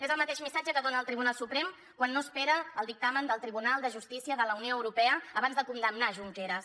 és el mateix missatge que dona el tribunal suprem quan no espera el dictamen del tribunal de justícia de la unió europea abans de condemnar junqueras